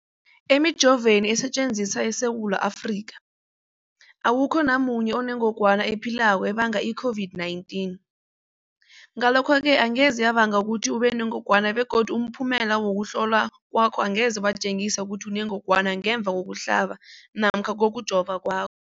Emijoveni esetjenziswa eSewula Afrika, awukho namunye onengog wana ephilako ebanga i-COVID-19. Ngalokho-ke angeze yabanga ukuthi ubenengogwana begodu umphumela wokuhlolwan kwakho angeze watjengisa ukuthi unengogwana ngemva kokuhlaba namkha kokujova kwakho.